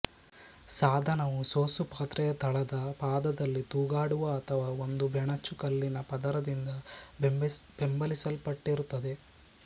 ಸಾಧನವು ಸೋಸುಪಾತ್ರೆಯ ತಳದ ಪಾದದಲ್ಲಿ ತೂಗಾಡುವ ಅಥವಾ ಒಂದು ಬೆಣಚು ಕಲ್ಲಿನ ಪದರದಿಂದ ಬೆಂಬಲಿಸಲ್ಪಟ್ಟರಿತ್ತದೆ